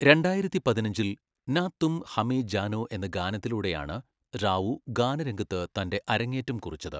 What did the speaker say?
രണ്ടായിരത്തിപതിനഞ്ചിൽ, നാ തും ഹമേ ജാനോ എന്ന ഗാനത്തിലൂടെയാണ് റാവു ഗാനരംഗത്ത് തന്റെ അരങ്ങേറ്റം കുറിച്ചത്.